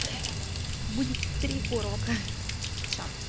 будет три урока всё